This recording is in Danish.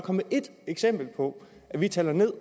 ét eksempel på at vi taler ned